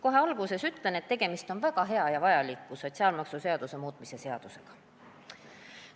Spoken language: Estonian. Kohe alguses ütlen, et tegemist on väga hea ja vajaliku sotsiaalmaksuseaduse muutmise seadusega.